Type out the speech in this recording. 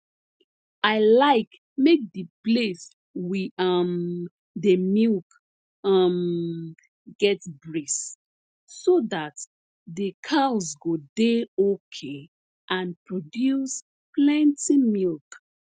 i like make the place we um dey milk um get breeze so that the cows go dey okay and produce plenti milk